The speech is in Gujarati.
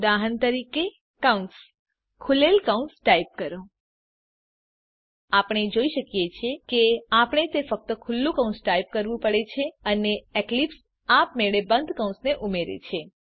ઉદાહરણ તરીકે કૌંસ ખૂલેલ કૌંસ ટાઈપ કરો આપણે જોઈ શકીએ છીએ કે આપણે ફક્ત ખુલ્લું કૌંસ ટાઈપ કરવું પડે છે અને એક્લીપ્સ આપમેળે બંધ કૌંસને ઉમેરે છે